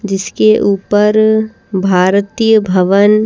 जिसके ऊपर भारतीय भवन --